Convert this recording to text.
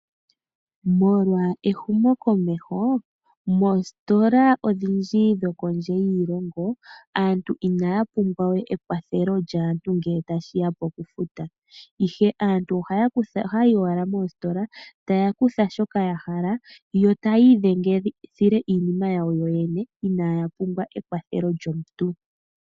Molwa ehumokomeho moositola odhindji dhokondje yiilongo aantu inaya pumbwa we ekwathelo lyaantu ngele tashiya pokufuta ihe aantu ohayayi owala moositola taya kutha shoka yahala yo taya idhengithile iinima yawo yoyene inaya pumbwa ekwathelo lyomuntu.